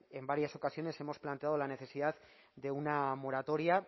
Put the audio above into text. en varias ocasiones hemos planteado la necesidad de una moratoria